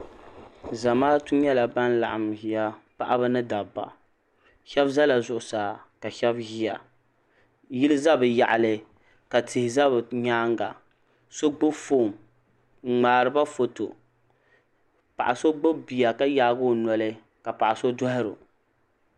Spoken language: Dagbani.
Zamaatu nyɛla ban laɣim nʒiya paɣaba ni dabba ,shebi ʒala zuɣu saa kashebi ʒi tiŋa. yiliya bɛ yaɣili ka tihi za bɛ nyaaŋa, sogbubi fɔn ni mŋaariba fɔto, paɣaso gbubi biya ka yaagi ɔ noli kapaɣiso dohiro